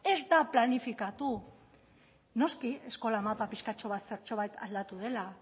ez da planifikatu noski eskola mapa pixkatxo bat zertxobait aldatu dela